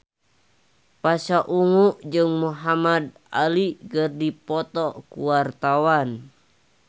Pasha Ungu jeung Muhamad Ali keur dipoto ku wartawan